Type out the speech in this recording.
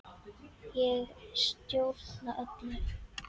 Ég stjórna öllu.